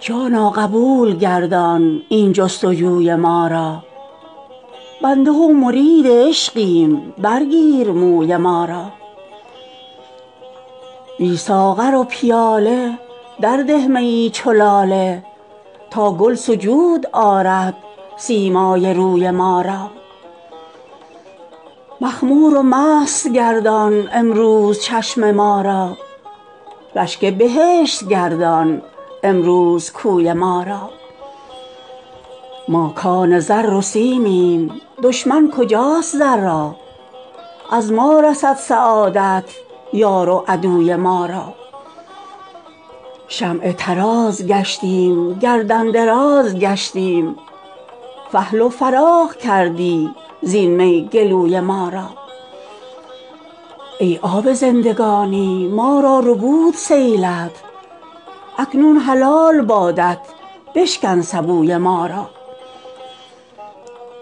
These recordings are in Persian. جانا قبول گردان این جست و جوی ما را بنده و مرید عشقیم برگیر موی ما را بی ساغر و پیاله درده میی چو لاله تا گل سجود آرد سیمای روی ما را مخمور و مست گردان امروز چشم ما را رشک بهشت گردان امروز کوی ما را ما کان زر و سیمیم دشمن کجاست زر را از ما رسد سعادت یار و عدوی ما را شمع طراز گشتیم گردن دراز گشتیم فحل و فراخ کردی زین می گلوی ما را ای آب زندگانی ما را ربود سیلت اکنون حلال بادت بشکن سبوی ما را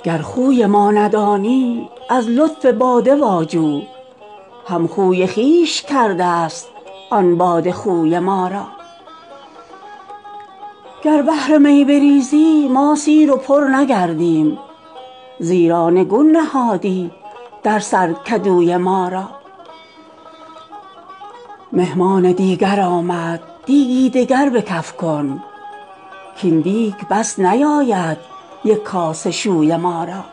گر خوی ما ندانی از لطف باده واجو همخوی خویش کرده ست آن باده خوی ما را گر بحر می بریزی ما سیر و پر نگردیم زیرا نگون نهادی در سر کدوی ما را مهمان دیگر آمد دیگی دگر به کف کن کاین دیگ بس نیاید یک کاسه شوی ما را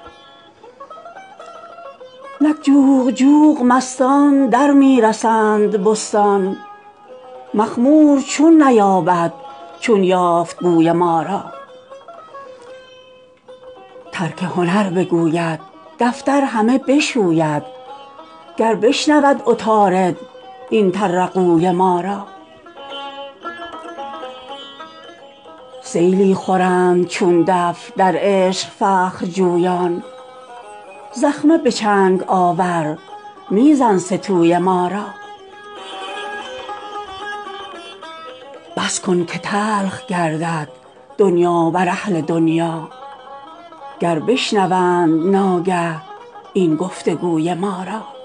نک جوق جوق مستان در می رسند بستان مخمور چون نیاید چون یافت بوی ما را ترک هنر بگوید دفتر همه بشوید گر بشنود عطارد این طرقوی ما را سیلی خورند چون دف در عشق فخرجویان زخمه به چنگ آور می زن سه توی ما را بس کن که تلخ گردد دنیا بر اهل دنیا گر بشنوند ناگه این گفت و گوی ما را